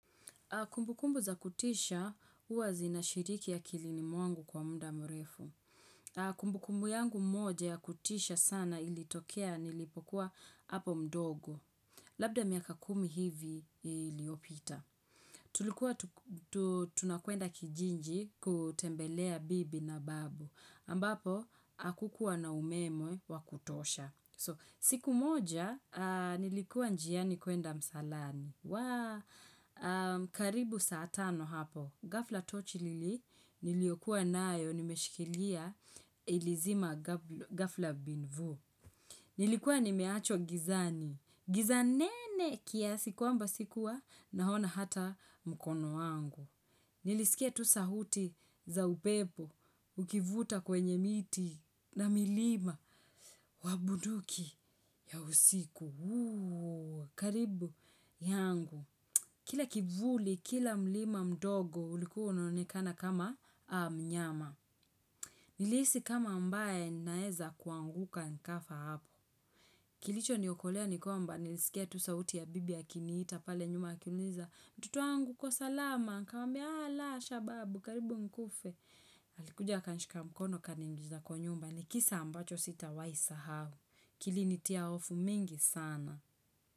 Kumbukumbu za kutisha, huwa zinashiriki ya akilini mwangu kwa muda mrefu. Kumbukumbu yangu moja ya kutisha sana ili tokea nilipokuwa hapo mdogo. Labda miaka kumi hivi iliyopita. Tulikuwa tunakwenda kijiji kutembelea bibi na babu. Ambapo, hakukuwa na umemwe wa kutosha. So, siku moja nilikuwa njiani kuenda msalani. Wa, karibu saa tano hapo. Ghafla tochi niliokuwa nayo nimeshikilia ilizima ghfla bin vuu. Nilikuwa nimeachwa gizani. Gizavnene kias kwamba sikuwa naona hata mkono wangu. Nilisikia tu sauti za upepo ukivuta kwenye miti na milima wa bunduki ya usiku. Karibu yangu. Kila kivuli, kila mlima mdogo, uliku unonikana kama mnyama. Nilihisi kama ambaye naeza kuanguka nkafa hapo. Kilichoniokolea ni kawmba, nilisikia tu sauti ya bibi ya akinita pale nyuma akiuliza. Mtoto wangu uko salama, nikamwmbia, 'Ah la, shababu, karibu nikufe.' Alikuja akanshika mkono akaniingiza kwa nyumba, ni kisa ambacho sitawai sahau. Kilinitia hofu mingi sana.